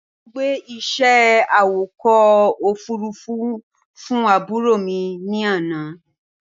Wọ́n gbé iṣẹ́ awakọ̀ ofúrufú fún àbúrò mi ní àná